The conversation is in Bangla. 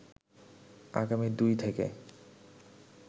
আগামী ২ থেকে